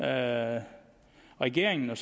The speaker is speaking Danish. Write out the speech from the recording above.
at regeringen og